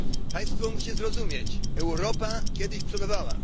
Państwo musicie zrozumieć Europa kiedyś przodowała.